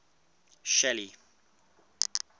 shelly